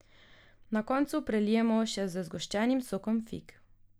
Na koncu prelijemo še s zgoščenim sokom fig.